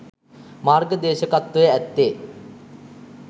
මාර්ග දේශකත්වය ඇත්තේ